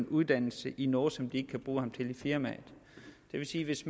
uddannelse i noget som ikke kan bruge ham til i firmaet det vil sige at hvis